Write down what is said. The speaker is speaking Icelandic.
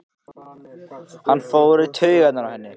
Hann fer í taugarnar á henni.